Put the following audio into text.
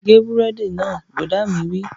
Gé búrẹ́dì náà! Bùrọ̀dá mi wí